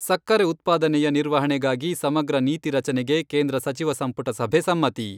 ಸಕ್ಕರೆ ಉತ್ಪಾದನೆಯ ನಿರ್ವಹಣೆಗಾಗಿ ಸಮಗ್ರ ನೀತಿ ರಚನೆಗೆ ಕೇಂದ್ರ ಸಚಿವ ಸಂಪುಟ ಸಭೆ ಸಮ್ಮತಿ.